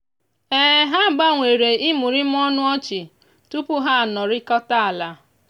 ha gbanwere imurimu ọnụ ọchị tupu ha anọrịkọta ala.